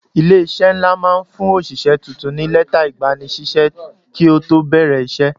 Ilé-iṣẹ́ ńlá máa ń fún òṣìṣẹ́ tuntun ní lẹ́tà ìgbanisíṣẹ́ kí ó tó bẹ̀rẹ̀ iṣẹ́.